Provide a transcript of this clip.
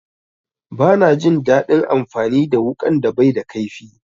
Bana jin daɗin amfani da wuƙan da baida kaifi.